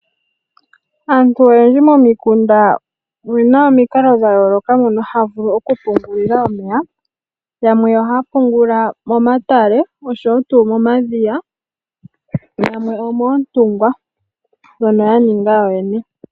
Aantu oyendji momikunda oyena omikalo dhayooloka mono haya vulu okuhungula omeya. Yamwe ohaya hungula momatale oshowoo tuu momadhiya yamwe omoontungwa ndhono yaninga yoyene.